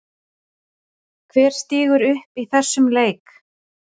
Hver stígur upp í þessum leik?